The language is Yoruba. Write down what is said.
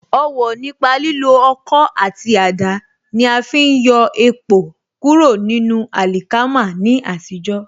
Ọwọ̀ nípa lílo Ọkọ́ àti àdá ní afi ń yọ èpò kúrò nínú àlìkámà ní àtijó.